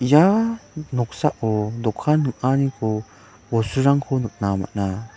ia noksao dokan ning·aniko bosturangko nikna man·a.